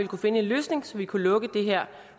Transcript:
kunne finde en løsning så vi kunne lukke det her